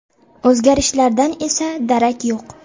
O‘zgarishlardan esa darak yo‘q.